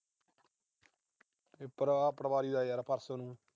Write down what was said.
Paper ਆ ਪਟਵਾਰੀ ਦਾ ਪਰਸੋਂ ਨੂੰ।